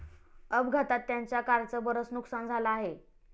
अपघातात त्यांच्या कारचं बरंच नुकसान झालं आहे.